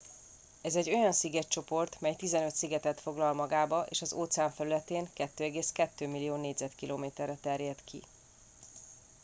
ez egy olyan szigetcsoport mely 15 szigetet foglal magába és az óceán felületén 2,2 millió km2-re terjed ki